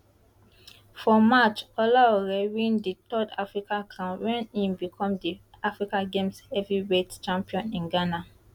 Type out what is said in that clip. for march olaore win di third african crown wen im become di african games heavyweight champion in ghana